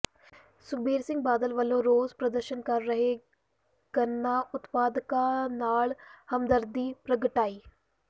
ਸੁਖਬੀਰ ਸਿੰਘ ਬਾਦਲ ਵਲੋਂ ਰੋਸ ਪ੍ਰਦਰਸ਼ਨ ਕਰ ਰਹੇ ਗੰਨਾ ਉਤਪਾਦਕਾਂ ਨਾਲ ਹਮਦਰਦੀ ਪ੍ਰਗਟਾਈ